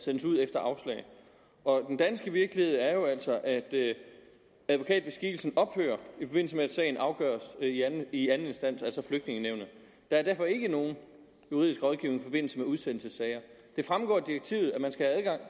sendes ud efter afslag og den danske virkelighed er jo altså at advokatbeskikkelsen ophører i at sagen afgøres i anden instans altså flygtningenævnet der er derfor ikke nogen juridisk rådgivning i forbindelse med udsendelsessager det fremgår af direktivet at man skal have adgang